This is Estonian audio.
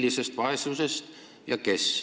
Millisest vaesusest ja kes?